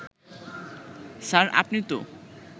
sir, আপনি তো